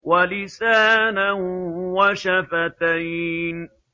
وَلِسَانًا وَشَفَتَيْنِ